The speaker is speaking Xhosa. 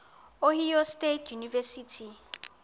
ohio state university